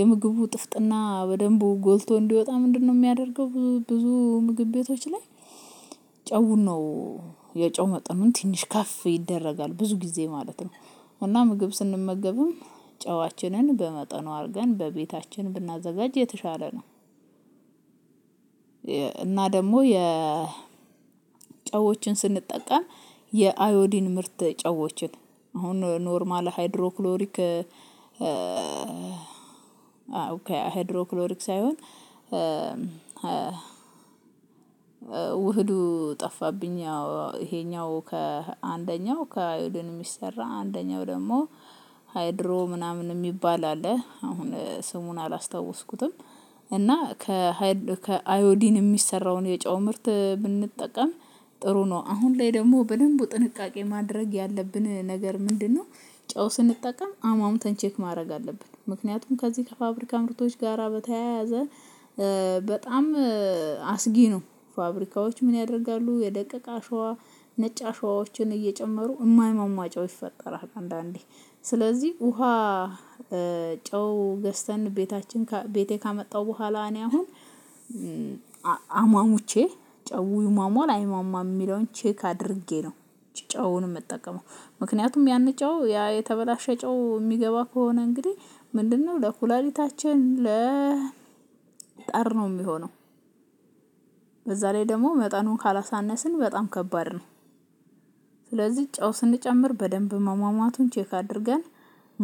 የምግቡ ጥፍጥና በደንቡ ጎልቶ እንዲወጣ ምንድነው የሚያደርገው ብዙ ብዙ ምግብ ቤቶች ላይ ጨውን ነው የጨው መጠኑን ትንሽ ከፍ ይደረጋል። ብዙ ጊዜ ማለት ነው እና ምግብ ስንመገብም ጨዋችንን በመጠኑ አድርገን በቤታችን ብናዘጋጅ የተሻለ ነው። እና ደግሞ የ ጨዋዎችን ስንጠቀም የአዮዲን ምርት ጨዋዎችን አሁን ኖርማል ሃይድሮክሎሪክ ኦኬ ሃይድሮክሎሪክ ሳይሆን ውህዱ ጠፋብኝ ይሄኛው ከአንደኛው ከአይሁድን የሚሰራ አንደኛው ደግሞ ሃይድሮ ምናምን የሚባል አለ። አሁን ስሙን አላስታወስኩትም እና ከሃይድ ከአዮዲን የሚሰራውን የጨው ምርት ብንጠቀም ጥሩ ነው። አሁን ላይ ደግሞ በደንብ ጥንቃቄ ማድረግ ያለብን ነገር ምንድነው ጨው ስንጠቀም አማሙተን ቼክ ማድረግ አለብን ምክንያቱም ከዚህ ከፋብሪካ ምርቶች ጋራ በተያያዘ በጣም አስጊ ነው። ፋብሪካዎች ምን ያደርጋሉ የደቀቀ አሸዋ ነጭ አሸዋዎችን እየጨመሩ የማይሟሟ ጨው ይፈጠራል አንዳንዴ ስለዚህ ውሃ ጨው ገዝተን ቤታችን ቤቴ ካመጣሁ በኋላ እኔ አሁን አሟሙቼ ጨው ይሟሟል አይሟሟም የሚለውን ቼክ አድርጌ ነው። ጨውን የምጠቀመው ምክንያቱም ያንጨው ያ የተበላሸ ጨው የሚገባ ከሆነ እንግዲህ ምንድነው ለኩላሊታችን ለ ነው የሚሆነው በዛ ላይ ደግሞ መጠኑን ካላሳነስን በጣም ከባድ ነው። ስለዚህ ጨው ስንጨምር በደንብ መሟሟቱን ቼክ አድርገን